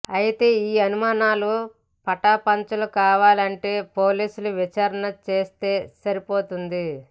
అయితే ఈ అనుమానాలు పటాపంచలు కావాలంటే పోలీసులు విచారణ చేస్తే సరిపోతుంది